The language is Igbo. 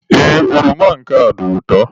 Ee, oroma nke a dị ụtọ.